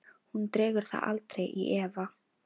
Hún dregur það aldrei í efa.